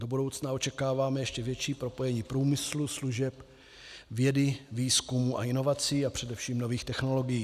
Do budoucna očekáváme ještě větší propojení průmyslu, služeb, vědy, výzkumu a inovací a především nových technologií.